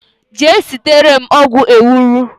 Jee sitere m ogwu ewuro